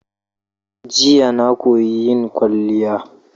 Jiya na koyi yin kwaliya.